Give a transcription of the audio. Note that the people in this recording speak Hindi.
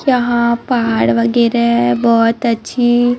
जहां पहाड़ वगैरा बहुत अच्छी--